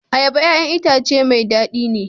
Ayaba 'ya'yan itace mai dadi ne.